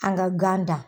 An ka gan dan